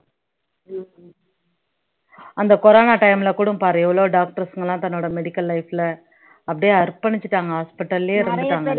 அந்த corona time ல கூட பாரு எவ்வளவோ doctors ங்க எல்லாம் தன்னோட medical life ல அப்படியே அர்ப்பணிச்சுட்டாங்க hospital லயே இருந்துட்டாங்க